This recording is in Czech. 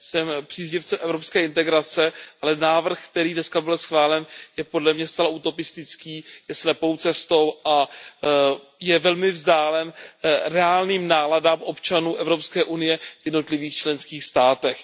Jsem příznivcem evropské integrace, ale návrh, který dneska byl schválen, je podle mě zcela utopistický, je slepou cestou a je velmi vzdálen reálným náladám občanů Evropské unie v jednotlivých členských státech.